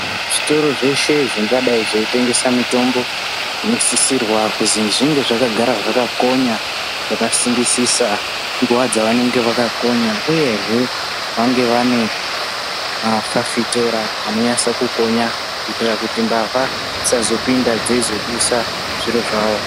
Zvitoro zveshe zvingadai zveitengesa mitombo zvinosisirwa kuzi zvinge zvakagara zvakakonya zvakasimbisisa nguva dzavanenge vakakonya uyehe vanga vane mafafitera anonyase kukonya kuitira kuti mbavha dzisazopinda dzeizodusa zviro zvawo.